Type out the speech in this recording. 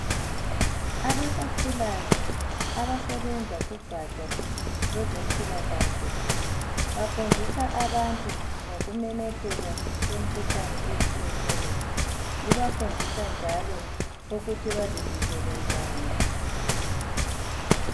Abasakhulayo abasebenza kugatsha lwezempilakahle bafundisa abantu ngokumemetheka kwemkhuhlane etshiyeneyo bebafundisa njalo ukuthi bazivikele njani.